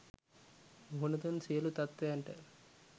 මුහුන දුන් සියළු තත්වයන්ට